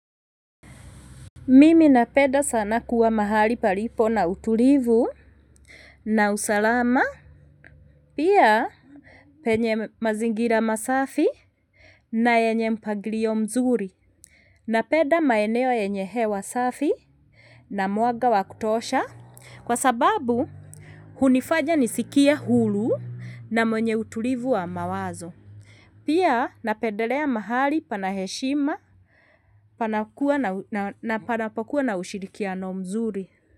Mimi napenda sana kuwa mahali palipo na utulivu na usalama pia penye mazingira masafi na yenye mpangilio mzuri napenda maeneo yenye hewa safi na mwanga wa kutosha kwa sababu hunifanya nisikie huru na mwenye utulivu wa mawazo. Pia napendelea mahali pana heshima na panapokuwa na ushirikiano mzuri.